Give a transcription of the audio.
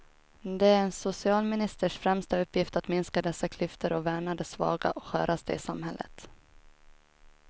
Det är en socialministers främsta uppgift att minska dessa klyftor och värna de svaga och sköraste i samhället.